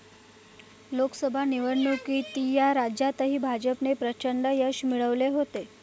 लोकसभा निवडणुकीत या राज्यातही भाजपने प्रचंड यश मिळवले होते.